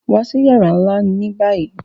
Wa sí yàrà nlá ni báyìí!